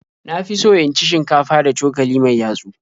Na fi so in ci shinkafa da cokali mai yatsu.